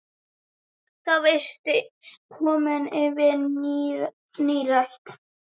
Þá varstu komin yfir nírætt.